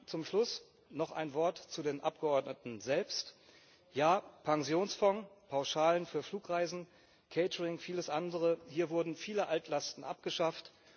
Zum Schluss noch ein Wort zu den Abgeordneten selbst Ja, Pensionsfonds, Pauschalen für Flugreisen, Catering, vieles andere hier wurden viele Altlasten abgeschafft.